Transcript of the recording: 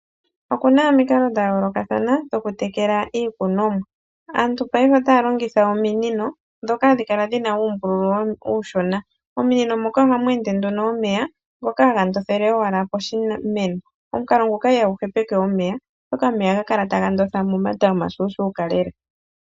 Oku na omikalo dha yoolokathana dhokutekela iikunomwa. Aantu paife otaya longitha ominino ndhoka hadhi kala dhi na uumbululu uushona. Mominino moka ohamu ende nduno omeya ngoka haga ndotha ashike poshimeno. Omukalo nguka ihagu hepeke omeya, oshoka omeya ohaga kala taga ndotha momata omashuushuka lela.